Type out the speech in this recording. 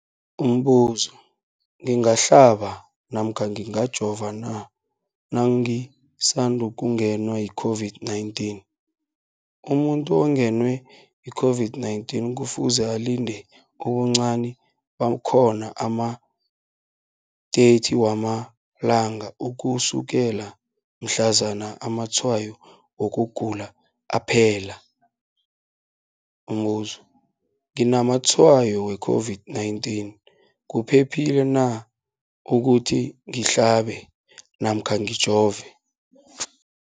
Umbuzo, ngingahlaba namkha ngingajova na nangisandu kungenwa yi-COVID-19? Umuntu ongenwe yi-COVID-19 kufuze alinde ubuncani bakhona ama-30 wama langa ukusukela mhlazana amatshayo wokugula aphela. Umbuzo, nginamatshayo we-COVID-19, kuphephile na ukuthi ngihlabe namkha ngijove?